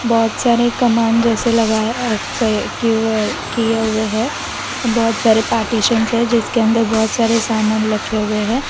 बहोत सारे कमान जैसे लगाया अ कय किवय किए हुए हैं और बहोत सारे पार्टीशन्श है जिसके अंदर बहोत सारे सामान रखे हुए हैं।